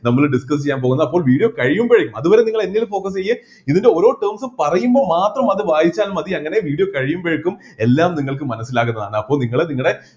നമ്മൾ discuss ചെയ്യാൻപോകുന്നത് അപ്പോ video കഴിയുമ്പേഴേ അത് വരെ നിങ്ങൾ എന്നിൽ focus ചെയ്യ് ഇതിൻ്റെ ഓരോ terms ഉം പറയുമ്പോ മാത്രം അത് വായിച്ചാൽ മതി അങ്ങനെ video കഴിയുമ്പോഴേക്കും എല്ലാം നിങ്ങൾക്ക് മനസ്സിലാകുന്നതാണ് അപ്പോ നിങ്ങൾ നിങ്ങളുടെ